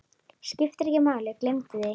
Skiptir ekki máli, gleymdu því.